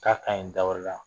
K'a ka ɲi da wɛrɛ la